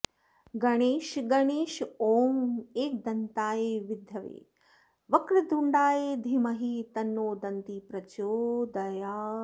गणेश गणेश ॐ एकदन्ताय विद्महे वक्रतुण्डाय धीमहि तन्नो दन्तिः प्रचोदयात्